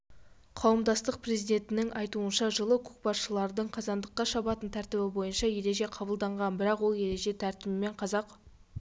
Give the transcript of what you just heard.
қауымдастық президентінің айтуынша жылы көкпаршылардың қазандыққа шабатын тәртібі бойынша ереже қабылданған бірақ ол ереже тәртібімен қазақ